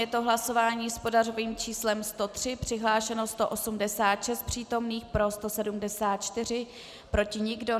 Je to hlasování s pořadovým číslem 103, přihlášeno 186 přítomných, pro 174, proti nikdo.